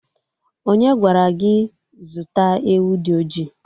Onye gwara gị zụta ewu dị oji?